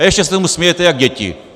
A ještě se tomu smějete jak děti.